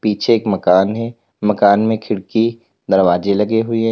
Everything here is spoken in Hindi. पीछे एक मकान है। मकान में खिड़की दरवाजे लगे हुए --